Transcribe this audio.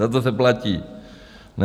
Za to se platí, ne?